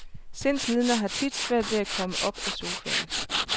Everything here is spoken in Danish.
Sindslidende har tit svært ved at komme op af sofaen.